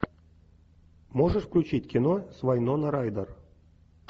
можешь включить кино с вайнона райдер